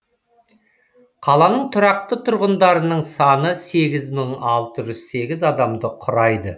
қаланың тұрақты тұрғындарының саны сегіз мың алты жүз сегіз адамды құрайды